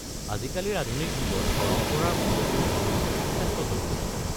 আজিকালিৰ আধুনিক যুগত পৰম্পৰাৰ মূল্যবোৰ ধৰি ৰখাটো যথেষ্ট জৰুৰী।